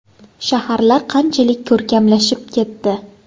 Shaharlar qanchalik ko‘rkamlashib ketdi.